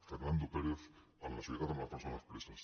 fernando pérez en la solidaritat amb les persones preses